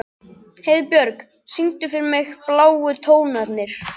Heiðbjörk, syngdu fyrir mig „Bláu tónarnir“.